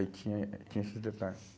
Aí tinha, tinha esses detalhe.